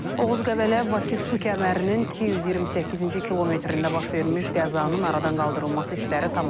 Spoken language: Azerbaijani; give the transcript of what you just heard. Oğuz-Qəbələ-Bakı su kəmərinin 228-ci kilometrində baş vermiş qəzanın aradan qaldırılması işləri tamamlanıb.